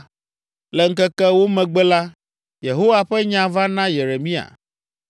Le ŋkeke ewo megbe la, Yehowa ƒe nya va na Yeremia.